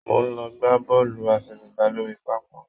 Mo n lọ gbà bọọlu àfẹ́sẹ̀gbà lórí pápá.